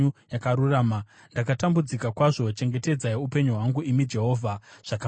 Ndakatambudzika kwazvo; chengetedzai upenyu hwangu, imi Jehovha, zvakafanira shoko renyu.